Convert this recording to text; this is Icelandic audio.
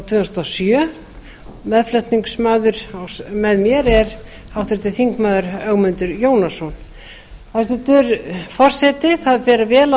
tvö þúsund og sjö meðflutningsmaður með mér er háttvirtur þingmaður ögmundur jónasson hæstvirtur forseti það fer vel á